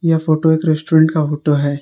ये फोटो एक रेस्टोरेंट का फोटो है।